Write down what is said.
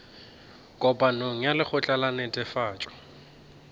kopanong ya lekgotla la netefatšo